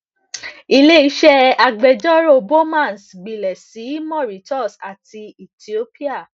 ileiṣẹ agbẹjọro bowmans gbilẹ si mauritius ati ethiopia